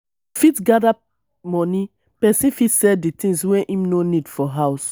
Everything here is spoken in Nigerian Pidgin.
to fit gather money person fit sell di things wey im no need for house